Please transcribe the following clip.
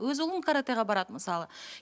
өз ұлым каратэға барады мысалы